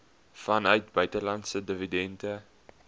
vanuit buitelandse dividende